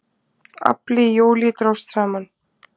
Afli í júlí dróst saman